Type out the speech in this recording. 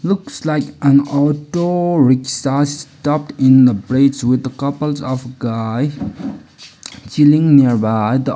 looks like an auto rikshaw stucked in the bridge with the couples of guy chilling nearby the--